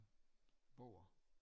Bøger